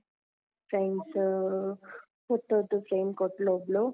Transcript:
friends ಅಹ್ photo ದು frame ಕೊಟ್ಲು ಒಬ್ಳು.